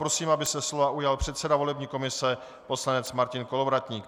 Prosím, aby se slova ujal předseda volební komise poslanec Martin Kolovratník.